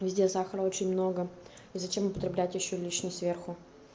везде сахара очень много и зачем употреблять ещё лишний сверху